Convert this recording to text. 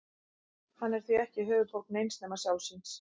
Hann er því ekki höfuðborg neins nema sjálfs sín.